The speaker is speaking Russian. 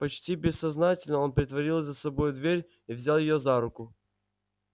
почти бессознательно он притворил за собой дверь и взял её за руку